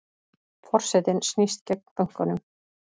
Forsetinn snýst gegn bönkunum